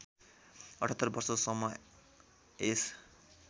७८ वर्षसम्म यस